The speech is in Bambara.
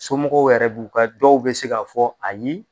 Somɔgɔw yɛrɛ b'u ka dɔw bi se ka fɔ ayi